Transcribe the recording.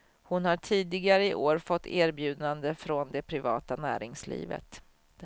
Hon har tidigare i år fått erbjudande från det privata näringslivet.